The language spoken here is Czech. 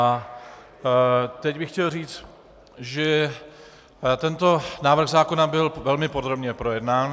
A teď bych chtěl říct, že tento návrh zákon byl velmi podrobně projednán.